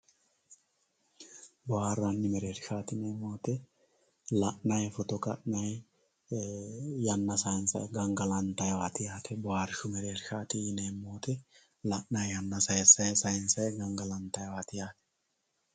Booharani mereershati yineemo woyite la`nayi foto kanayi yana sayinsayi gangalantaywat yaate booharshu mereershat yinemo woyite la`nayi yanna sansayi gangalantayiwat yaate